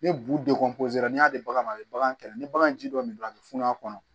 Ni bu dekun n'i y'a di bagan ma a be bagan kɛlɛ ni bagan ji dɔ nin don a be funu a kɔnɔ